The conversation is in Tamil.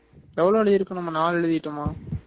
எவ்ளோ எழுதிருக்குறோம் நம்ம நாலு எழுதிட்டோமா